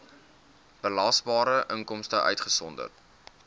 belasbare inkomste uitgesonderd